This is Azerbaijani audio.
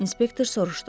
İnspektor soruşdu.